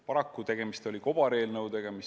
Paraku oli tegemist kobareelnõudega.